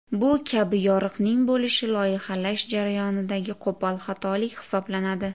Bu kabi yoriqning bo‘lishi loyihalash jarayonidagi qo‘pol xatolik hisoblanadi.